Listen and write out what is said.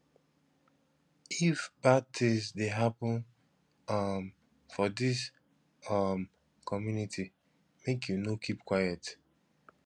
if bad tins dey happen um for dis um community make you no keep quiet